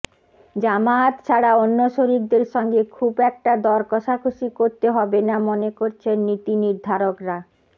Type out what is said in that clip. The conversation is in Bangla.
জামায়াত ছাড়া অন্য শরিকদের সঙ্গে খুব একটা দরকষাকষি করতে হবে না মনে করছেন নীতিনির্ধারকরা